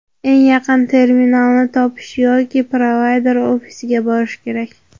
Eng yaqin terminalni topish yoki provayder ofisiga borish kerak.